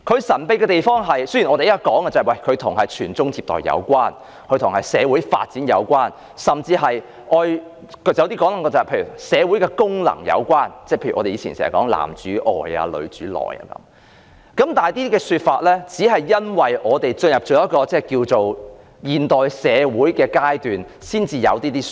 雖然當今社會認為，婚姻制度與傳宗接代和社會發展有關，甚至與社會功能有關，例如過往經常強調的"男主外，女主內"，但類似說法是在社會踏入現代階段才出現的。